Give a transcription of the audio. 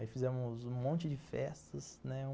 Aí fizemos um monte de festas, né?